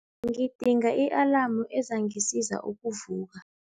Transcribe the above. Ngidinga i-alamu ezangisiza ukuvuka.